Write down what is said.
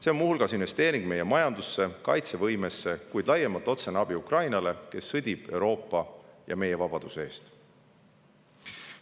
See on muu hulgas investeering meie majandusse ja kaitsevõimesse, kuid laiemalt otsene abi Ukrainale, kes sõdib Euroopa ja meie vabaduse eest.